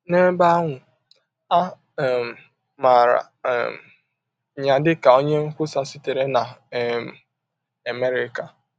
N’ebe ahụ, a um maara um ya dịka onye nkwusa sitere na um Amerịka.